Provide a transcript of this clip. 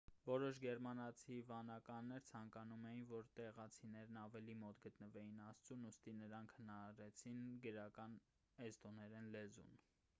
որոշ գերմանացի վանականներ ցանկանում էին որ տեղացիներն ավելի մոտ գտնվեին աստծուն ուստի նրանք հնարեցին գրական էստոներեն լեզուն